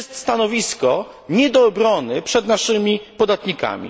Jest to stanowisko nie do obrony przed naszymi podatnikami.